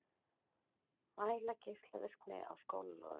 Mæla geislavirkni á skólalóðum